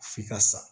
F'i ka sa